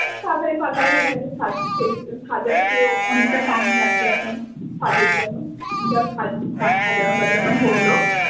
তাড়াতাড়ি পার্লারের মেয়ের কাছে সাজার সে অনেকটা টাইম লাগবে এখন সাজের জন্য দিয়ে সব সাজানো টাজানো হলো।